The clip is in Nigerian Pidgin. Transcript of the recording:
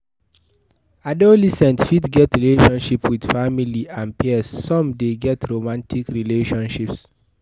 adolescent fit get relationship with family and peers some de get romantic relationship